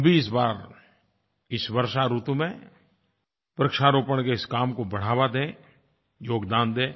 हम भी इस बार इस वर्षा ऋतु में वृक्षारोपण के इस काम को बढ़ावा दें योगदान दें